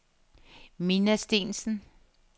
Minna Steensen